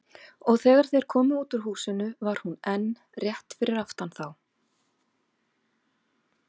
Og þegar þeir komu út úr húsinu var hún enn rétt fyrir aftan þá.